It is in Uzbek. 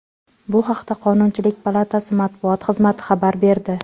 Bu haqda Qonunchilik palatasi matbuot xizmati xabar berdi .